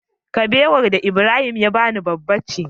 Kabewar da Ibrahim ya bani babba ce